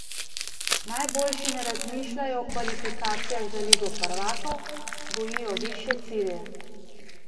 Najboljši ne razmišljajo o kvalifikacijah za ligo prvakov, gojijo višje cilje.